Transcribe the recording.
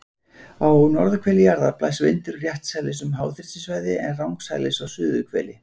Á norðurhveli jarðar blæs vindurinn réttsælis um háþrýstisvæði, en rangsælis á suðurhveli.